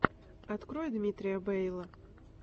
открой дмитрия бэйла